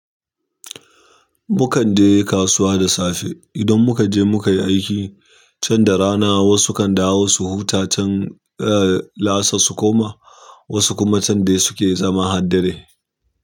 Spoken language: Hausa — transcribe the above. Mukan je kasuwa da safe. Idan muka je muka yi aiki, can da rana wasu kan dawo su huta can, eh, la'asar su koma, wasu kuma can dai suke zama har dare.